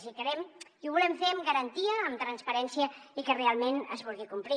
i ho volem fer amb garantia amb transparència i que realment es vulgui complir